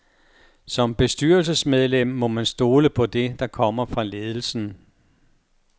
Som bestyrelsesmedlem må man stole på det, der kommer fra ledelsen.